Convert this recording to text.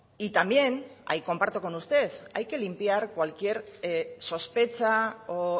y también ahí comparto con usted hay que limpiar cualquier sospecha o